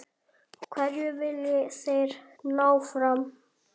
Hverju vilja þeir ná fram?